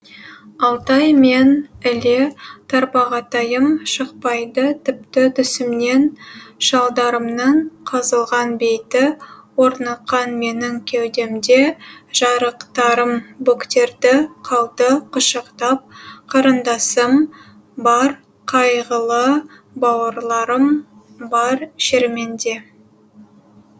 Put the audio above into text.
алтай мен іле тарбағатайым шықпайды тіпті түсімнен шалдарымның қазылған бейті орныққан менің кеудемде жарықтарым бөктерді қалды құшақтап қарындасым бар қайғылы бауырларым бар шерменде